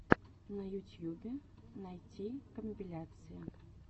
в ютьюбе найти компиляции